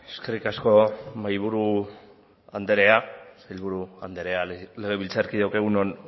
eskerrik asko mahaiburu anderea sailburu anderea legebiltzarkideok egun on